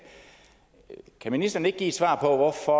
kan ministeren ikke give et svar på hvorfor